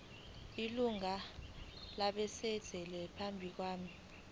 ilungu labasebenzi benkampani